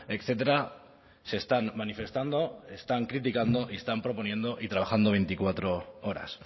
etcétera se están manifestando están criticando y están proponiendo y trabajando veinticuatro horas